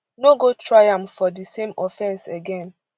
no go try am for di same offence again